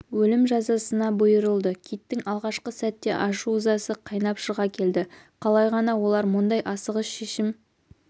өлім жазасына бұйырылды киттің алғашқы сәтте ашу-ызасы қайнап шыға келді қалай ғана олар мұндай асығыс шешім